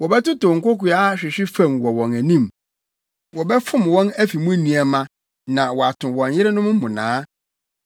Wɔbɛtotow nkokoaa ahwehwe fam wɔ wɔn anim: wɔbɛfom wɔn afi mu nneɛma na wɔato wɔn yerenom mmonnaa.